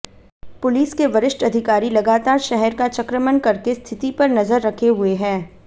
police के वरिष्ठ अधिकारी लगातार शहर का चक्रमण करके स्थिति पर नजर रखे हुए हैं